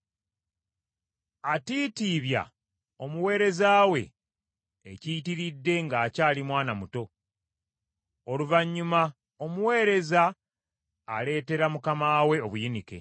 Atiitiibya omuweereza we ekiyitiridde ng’akyali mwana muto, oluvannyuma omuweereza aleetera mukama we obuyinike.